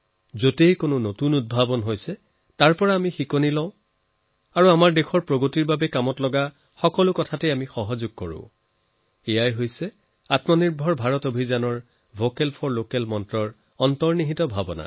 যত যিটো নতুন তাৰ পৰাই আমি শিকিব লাগে যিটো আমাৰ দেশৰ বাবে ভাল হব পাৰে তাক আমি সহযোগ আৰু উৎসাহিত কৰিব লাগে এয়াই হৈছে আত্মনিৰ্ভৰ ভাৰত অভিযান ভোকেল ফৰ লোকেল মন্ত্ৰৰো ভাবনা